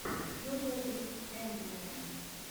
йога виз эндриан